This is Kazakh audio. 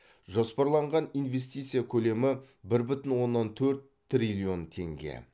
жоспарланған инвестиция көлемі бір бүтін оннан төрт триллион теңге